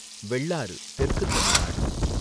வெள்ளாறு, தெற்கு தமிழ்நாடு